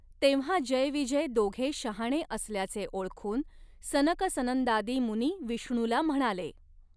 तेंव्हा जयविजय दोघे शहाणे असल्याचे ओळखून सनकसनंदादी मुनी विष्णूला म्हणाले .